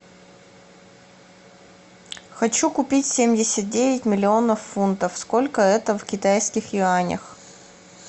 хочу купить семьдесят девять миллионов фунтов сколько это в китайских юанях